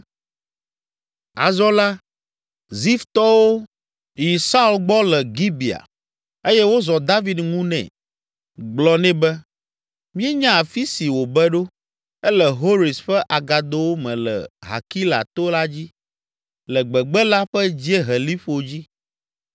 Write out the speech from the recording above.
Azɔ la, Ziftɔwo yi Saul gbɔ le Gibea eye wozɔ David ŋu nɛ, gblɔ nɛ be, “Míenya afi si wòbe ɖo; ele Hores ƒe agadowo me le Hakila to la dzi, le gbegbe la ƒe dzieheliƒo dzi.